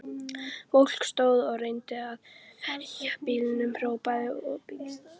Fólk stóð og reyndi að veifa bílum, hrópaði og blístraði.